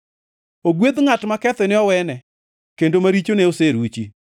Ogwedh ngʼat ma kethone owene, kendo ma richone oseruchi.